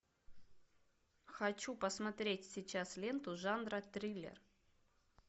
хочу посмотреть сейчас ленту жанра триллер